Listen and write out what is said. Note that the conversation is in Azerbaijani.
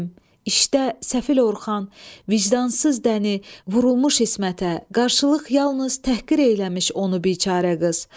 İşdə səfil Orxan, vicdansız dəni vurulmuş İsmətə qarşılıq yalnız təhqir eləmiş onu biçərə qız.